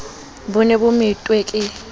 bo ne bo methwe ke